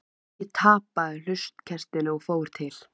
Ég tapaði hlutkestinu og fór til